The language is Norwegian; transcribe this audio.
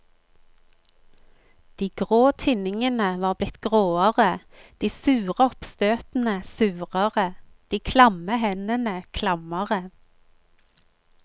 De grå tinningene var blitt gråere, de sure oppstøtene surere, de klamme hendene klammere.